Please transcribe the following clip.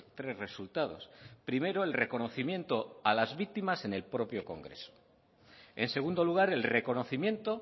tres resultados primero el reconocimiento a las víctimas en el propio congreso en segundo lugar el reconocimiento